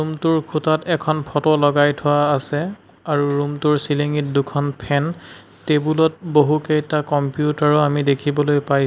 Room টোৰ খুঁটাত এখন ফটো লগাই থোৱা আছে আৰু ৰূম টোৰ চিলিং ঙিত দুখন ফেন টেবুল ত বহুকেইটা কম্পিউটাৰ ও আমি দেখিবলৈ পাইছোঁ।